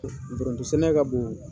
sɛnɛ ka bon